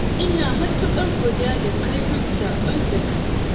Ina matuƙar godiya da kai min saƙon da ka yi.